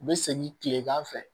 U bɛ segin tilegan fɛ